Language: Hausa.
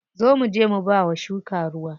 Zo muje mu bawa shuka ruwa.